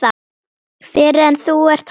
Fyrr en þú ert hættur.